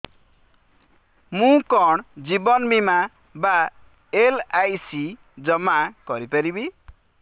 ମୁ କଣ ଜୀବନ ବୀମା ବା ଏଲ୍.ଆଇ.ସି ଜମା କରି ପାରିବି